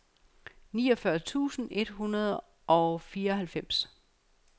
niogfyrre tusind et hundrede og fireoghalvfems